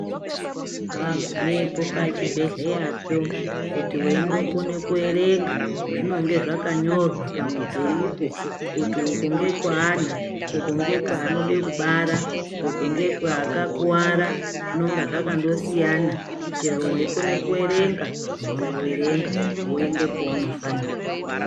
Wagumapo pachibhedhlera kuti weingokona kuerenga zvinenge zvakanyorwa pamudhuripo kuti uku ndekwani uku ndekweanoda kubara uku ndekwe akakuwara zvinonga zvandosiyana chero weikona kuerenga woenda kuerenga woenda kwaunofanira.